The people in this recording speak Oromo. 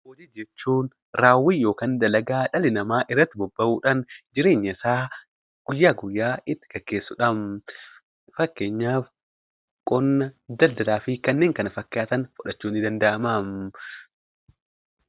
Hojii jechuun raawwii yookiin dalagaa dhalli namaa irratti bobba'uudhaan jireenya isaa guyyaa guyyaa itti gaggeessudha. Fakkeenyaaf: qonna, daldalaa fi kanneen kana fakkaatan fudhachuun ni danda'ama.